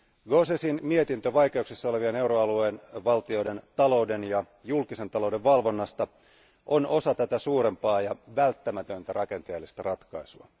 Gauzèsin mietintö vaikeuksissa olevien euroalueen valtioiden talouden ja julkisen talouden valvonnasta on osa tätä suurempaa ja välttämätöntä rakenteellista ratkaisua.